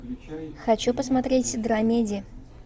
хочу посмотреть драмеди